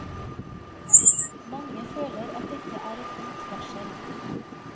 Mange føler at dette er et ondt varsel.